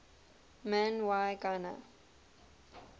man y gana